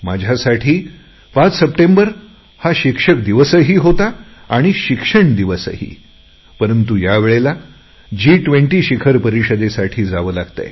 माझ्यासाठी 5 सप्टेंबर हा शिक्षक दिन ही होता आणि शिक्षण दिनही परंतु यावेळेस जी20 शिखर परिषदेसाठी मला जावे लागत आहे